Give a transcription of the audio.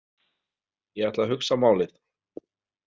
Ég ætla að hugsa málið.